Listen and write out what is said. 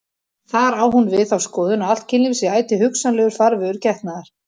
Þar á hún við þá skoðun að allt kynlíf sé ætíð hugsanlegur farvegur getnaðar.